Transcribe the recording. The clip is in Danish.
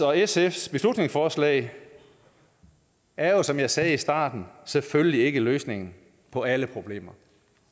og sfs beslutningsforslag er jo som jeg sagde i starten selvfølgelig ikke løsningen på alle problemer